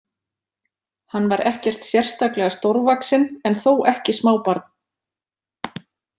Hann var ekkert sérstaklega stórvaxinn en þó ekki smábarn.